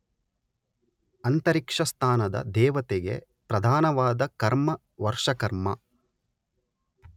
ಅಂತರಿಕ್ಷಸ್ಥಾನದ ದೇವತೆಗೆ ಪ್ರಧಾನವಾದ ಕರ್ಮ ವರ್ಷಕರ್ಮ.